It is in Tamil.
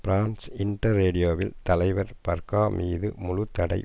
பிரான்ஸ் இன்டர் ரேடியோவில் தலைவர் பர்க்கா மீது முழு தடை